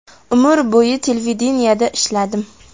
Umr bo‘yi televideniyeda ishladim.